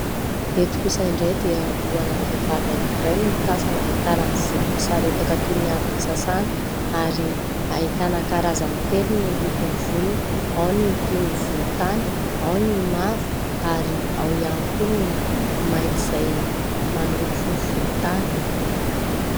Eto kosa indray dia lohana vehivavy anankiray no tazana, ahitana ny volony misaritaka toy ny avy nosasana ary ahitana karazany telo ny lokon'ny volony : ao ny toy ny volontany, ao ny mavo ary ao ihany koa ny mainty izay manopy volontany.